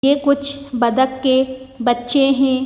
ये कुछ बदक के बच्चे हैं।